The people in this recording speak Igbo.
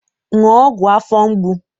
Ṅụọ ọgwụ afọ mgbu!